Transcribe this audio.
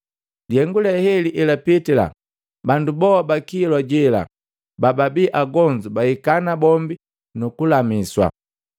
Lihengu le heli elapitila, bandu boa ba kilwa jela bababii agonzu bahika nabombi nukulamiswa.